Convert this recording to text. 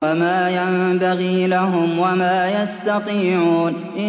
وَمَا يَنبَغِي لَهُمْ وَمَا يَسْتَطِيعُونَ